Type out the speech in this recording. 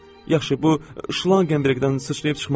Yaxşı, bu şlanq qəmbərdən sıçrayıb çıxmaz?